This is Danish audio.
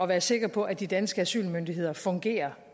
være sikker på at de danske asylmyndigheder fungerer